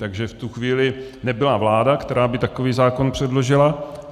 Takže v tu chvíli nebyla vláda, která by takový zákon předložila.